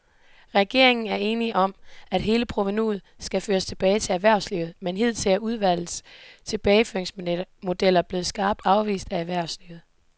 Regeringen er enig om, at hele provenuet skal føres tilbage til erhvervslivet, men hidtil er udvalgets tilbageføringsmodeller blevet skarpt afvist af erhvervslivet.